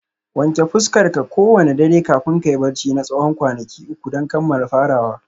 Wanke fuskarka kowane dare kafin kayi barci na tsawon kwanaki uku don kammala farawa